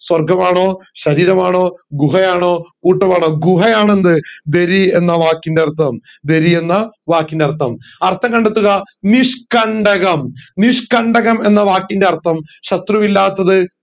സ്വർഗമാണോ ശരീരമാണോ ഗുഹയാണോ കൂട്ടമാണോ ഗുഹയാണ് എന്ത് ദരി എന്ന വാക്കിന്റർത്ഥം ദരി എന്ന വാക്കിന്റർത്ഥം അർത്ഥം കണ്ടെത്തുക നിഷ്കണ്ടകം നിഷ്കണ്ടകം എന്ന വാക്കിൻറെ അർത്ഥം ശത്രു ഇല്ലാത്തത്